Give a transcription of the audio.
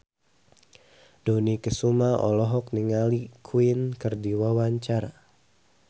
Dony Kesuma olohok ningali Queen keur diwawancara